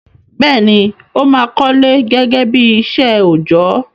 Bẹ́ẹ̀ni, ó máà kọ́lé gẹ́gẹ́ bí iṣẹ́ òjọ́.